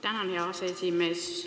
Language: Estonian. Tänan, hea aseesimees!